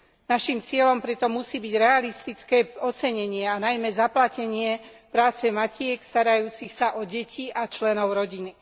Naším cieľom pritom musí byť realistické ocenenie a najmä zaplatenie práce matiek starajúcich sa o deti a členov rodiny.